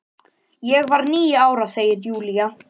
Ég var níu ára, segir Júlía.